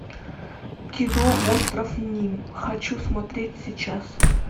кино остров ним хочу смотреть сейчас